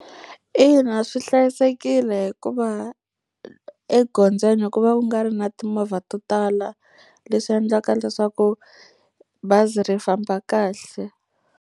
Ina, swi hlayisekile hikuva egondzweni ku va ku nga ri na timovha to tala, leswi endlaka leswaku bazi ri famba kahle.